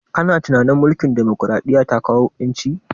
Kana tunanin mulkin demokaraɗiya ta kawo ƴanci?